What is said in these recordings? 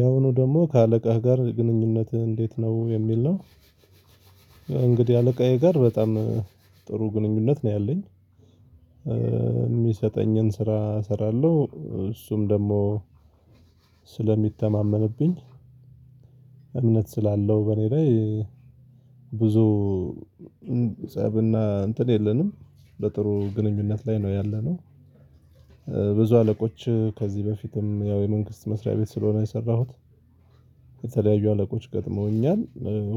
ያሁኑ ደግሞ ከአለቃህ ጋር ግንኙነትህ እንዴት ነው የሚል ነው? እንግዲህ አለቃዬ ጋር በጣም ጥሩ ግንኙነት ነው ያለኝ የሚሰጠኝን ስራ እሰራለሁ እሱም ደግሞ ስለሚተማመንብኝ እምነት ስላለው በእኔ ላይ ብዙ ፀብና እንትን የለንም በጥሩ ግንኙነት ላይ ነው ያለነው። ብዙ አለቆች ከዚህ በፊትም ያው የመንግስት መስሪያ ቤት ስለሆነ የሰራሁት። የተለያዩ አለቆች ገጥመውኛል።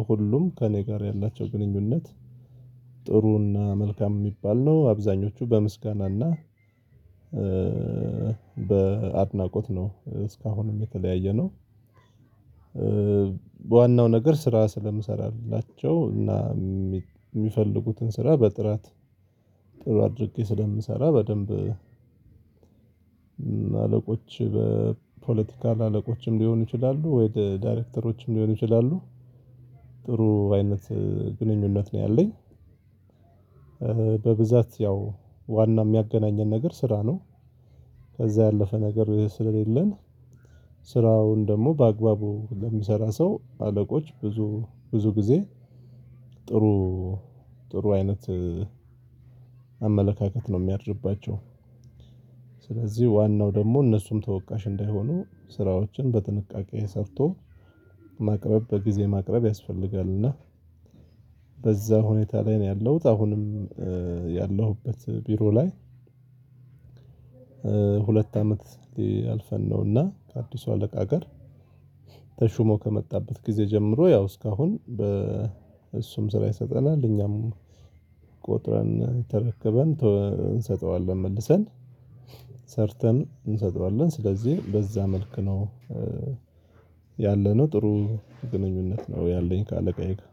ሁሉም ከእኔ ጋር ያላቸው ግንኙነት ጥሩና መልካም የሚባል ነው አብዛኞቹ በምስጋናና በአድናቆት ነው እስካሁንም የተለያየነው። በዋናው ነገር ስራ ስለምሰራላቸው እና የሚፈልጉትን ስራ በጥራት ጥሩ አድርጌ ስለምሰራ በደንብ አለቆች በፖለቲካል አለቆችም ሊሆን ይችላሉ ወይ ዳይሬክተሮችም ሊሆን ይችላሉ። ጥሩ አይነት ግንኙነት ነው ያለኝ። በብዛት ያው ዋና የሚያገናኘን ነገር ስራ ነው ከዛ ያለፈ ነገር ስለሌለን። ስራውን ደግሞ በአግባቡ ለሚሰራ ሰው አለቆች ብዙም ብዙ ጊዜ ጥሩ ጥሩ አይነት አመለካከት ነው የሚያድርባቸው። ስለዚህ ዋናው ደግሞ እነሱም ተወቃሽ እንዳይሆኑ ስራዎችን በጥንቃቄ ሰርቶ ማቅረብ በጊዜ ማቅረብ ያስፈልጋል። እና በዛ ሁኔታ ላይ ነው ያለሁት አሁንም። ያለሁበት ቢሮ ላይ። ሁለት አመት አልፈን ነውና ከአዲሱ አለቃ ጋር ተሹሞ ከመጣበት ጊዜ ጀምሮ ያው እስካሁን እሱም ስራ ይሰጠናል እኛም ቆጥረን ተረከበን እንሰጠዋለን መልሰን ሰርተን እንሰጠዋለን ስለዚህ በዛ መልክ ነው። ያለነው ጥሩ ግንኙነት ነው ያለኝ ከአለቃዬ ጋር።